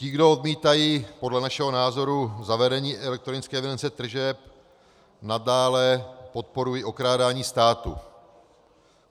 Ti, kdo odmítají, podle našeho názoru, zavedení elektronické evidence tržeb, nadále podporují okrádání státu.